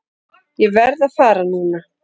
Ég verð að fara núna!